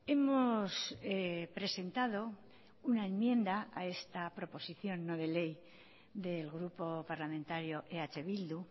hemos presentado una enmienda a esta proposición no de ley del grupo parlamentario eh bildu